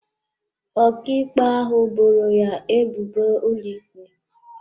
Ọkàikpe ahụ boro ya ebubo ụlọikpe.